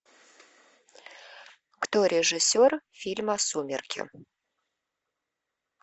кто режиссер фильма сумерки